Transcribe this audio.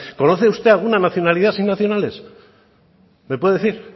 conoce usted alguna nacionalidad sin nacionales me puede decir